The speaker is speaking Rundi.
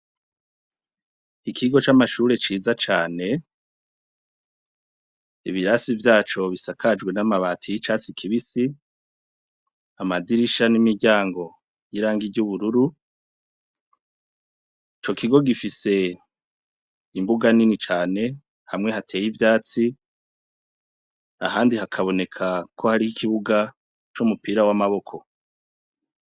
Ikigo c'amashure ciza cane, ibirasi vyaco bisakajwe n'amabati y'icatsi kibisi, amadirisha n'imiryango y'irangi ry'ubururu. Ico kigo gifise imbuga nini cane, hamwe hateye ivyatsi ahandi hakaboneka ko hari ikibuga c'umupira w'amaboko.